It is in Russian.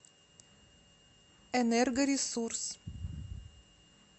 энергоресурс